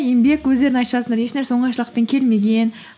еңбек өздерің айтып жатсыңдар еш нәрсе оңайшылықпен келмеген